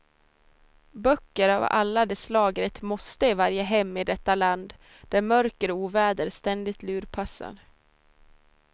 Böcker av alla de slag är ett måste i varje hem i detta land där mörker och oväder ständigt lurpassar.